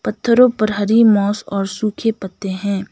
तरु प्रहरी मॉस और सूखे पत्ते हैं।